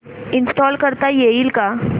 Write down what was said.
install करता येईल का